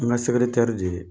N ga de ye.